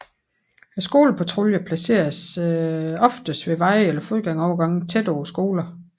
Skolepatruljerne placeres oftest ved veje eller fodgængerovergange tæt på skolerne